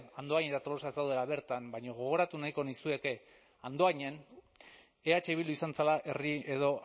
andoain eta tolosa ez daudela bertan baina gogoratu nahiko nizueke andoainen eh bildu izan zela herri edo